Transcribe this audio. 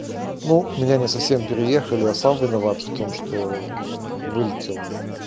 ну меня не совсем переехали а сам виноват в том что вылетел